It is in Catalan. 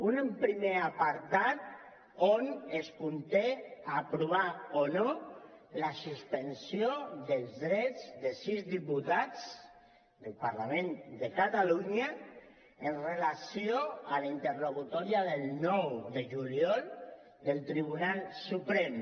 un primer apartat on es conté aprovar o no la suspensió dels drets de sis diputats del parlament de catalunya amb relació a la interlocutòria del nou de juliol del tribunal suprem